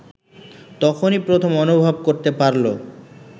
তখনই প্রথম অনুভব করতে পারল